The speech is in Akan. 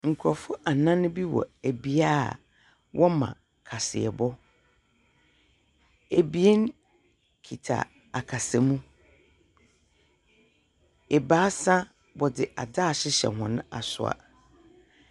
Nkurɔfoɔ anan bi wɔ bea a wɔma kaseɛbɔ. Ebien kita akasamu. Ebaasa wɔdze adze ahyehyɛ hɔn asowa.